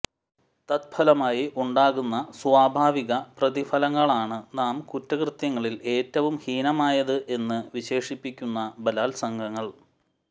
തത്ഫലമായി ഉണ്ടാകുന്ന സ്വാഭാവിക പ്രതിഫലങ്ങളാണ് നാം കുറ്റകൃത്യങ്ങളിൽ ഏറ്റവും ഹീനമായത് എന്ന് വിശേഷിപ്പിക്കുന്ന ബലാൽസംഗങ്ങൾ